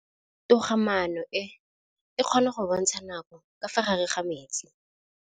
Toga-maanô e, e kgona go bontsha nakô ka fa gare ga metsi.